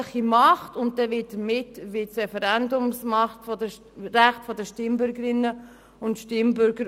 Man kann nun für das Tram oder für die Umfahrung Aarwangen sein oder dagegen, dies tut hier nichts zur Sache.